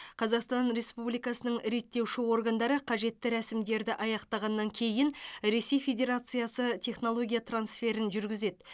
қазақстан республикасының реттеуші органдары қажетті рәсімдерді аяқтағаннан кейін ресей федерациясы технология трансферін жүргізеді